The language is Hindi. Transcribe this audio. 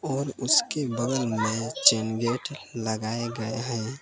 और उसके बगल में चैन गेट लगाएं गए हैं।